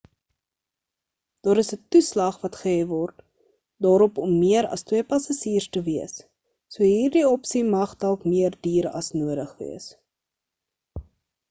daar is 'n toeslag wat gehef word daarop om meer as 2 passasiers te wees so hierdie opsie mag dalk meer duur as nodig wees